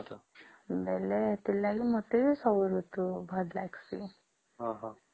ବୋଲେ ସେଇଠି ଲାଗି ମତେ ବି ସବୁ ଋତୁ ଭଲ ଲାଗିଁସେ